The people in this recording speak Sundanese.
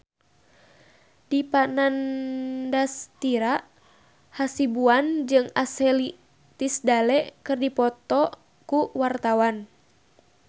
Dipa Nandastyra Hasibuan jeung Ashley Tisdale keur dipoto ku wartawan